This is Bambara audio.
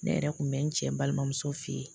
Ne yɛrɛ kun bɛ n cɛ balimamuso fe ye